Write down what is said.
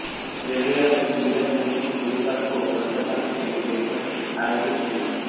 railway यात्री सुविधा समिति की गरुवार को कोलकाता में एक बैठक आयोजित हुई